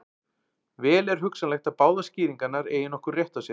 Vel er hugsanlegt að báðar skýringarnar eigi nokkurn rétt á sér.